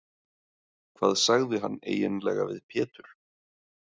Hvað sagði hann eiginlega við Pétur?